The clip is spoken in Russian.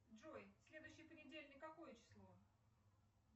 джой следующий понедельник какое число